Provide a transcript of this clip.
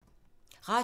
Radio 4